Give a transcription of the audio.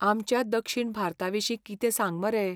आमच्या दक्षीण भारताविशीं कितें सांग मरे.